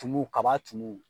Tumu kaba tumu.